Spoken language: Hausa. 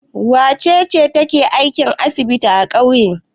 Wace ce take aikin asibiti a ƙauye?